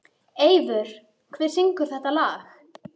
Eivör, hver syngur þetta lag?